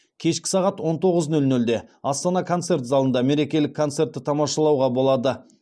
кешкі сағат он тоғыз нөл нөлде астана концерт залында мерекелік концертті тамашалауға болады